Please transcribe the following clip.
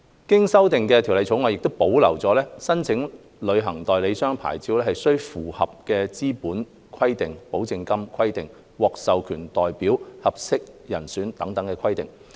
經修訂的《條例草案》亦保留了申請旅行代理商牌照須符合的資本規定、保證金規定、獲授權代表、合適人選等規定。